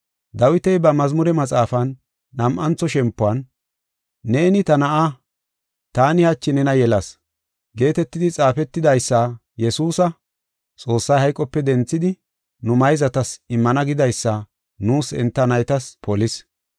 Dawiti ba Mazmure Maxaafan nam7antho shempuwan, “Neeni, ta Na7a, taani hachi nena yelas” geetetidi xaafetida Yesuusa, Xoossay hayqope denthidi nu mayzatas immana gidaysa nuus enta naytas polis.